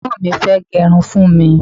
egbon mi fee gerun fún mi